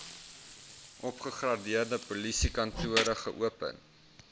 opgegradeerde polisiekantore geopen